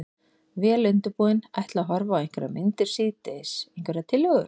Vel undirbúinn. ætla að horfa á einhverjar myndir síðdegis, einhverjar tillögur?